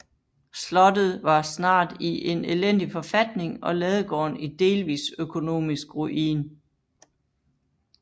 Slottet var snart i en elendig forfatning og ladegården i delvis økonomisk ruin